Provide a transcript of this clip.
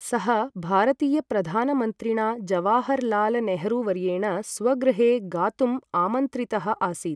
सः भारतीयप्रधानमन्त्रिणा जवाहरलालनेहरूवर्येण स्वगृहे गातुम् आमन्त्रितः आसीत्।